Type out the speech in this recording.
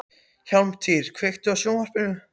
Hjálmtýr, kveiktu á sjónvarpinu.